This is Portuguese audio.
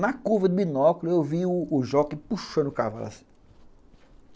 Na curva do binóculo eu vi o jockey puxando o cavalo assim.